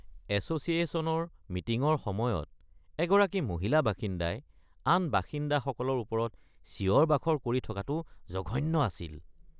এছ'চিয়েশ্যনৰ মিটিঙৰ সময়ত এগৰাকী মহিলা বাসিন্দাই আন বাসিন্দাসকলৰ ওপৰত চিঞৰ-বাখৰ কৰি থকাটো জঘন্য আছিল।